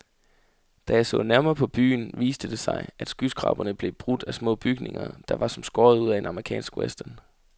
Da jeg så nærmere på byen, viste det sig, at skyskraberne blev brudt af små bygninger, der var som skåret ud af en amerikansk western.